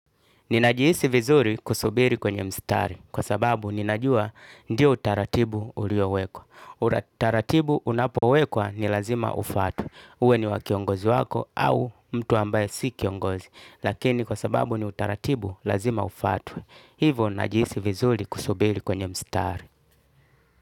Ninajihisi vizuri kusubiri kwenye mstari kwa sababu ninajua ndiyo utaratibu uliowekwa. Utaratibu unapowekwa ni lazima ufuatwe. Uwe ni wa kiongozi wako au mtu ambaye si kiongozi. Lakini kwa sababu ni utaratibu lazima ufatwe. Hivo najihisi vizuri kusubiri kwenye mstari.